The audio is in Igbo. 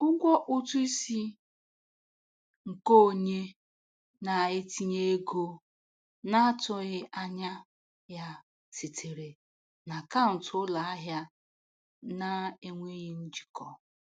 Ụgwọ ụtụ isi nke onye na-etinye ego na-atụghị anya ya sitere na akaụntụ ụlọ ahịa na-enweghị njikọ.